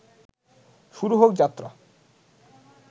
শুরু হোক যাত্রা